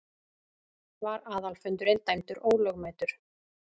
Var aðalfundurinn dæmdur ólögmætur.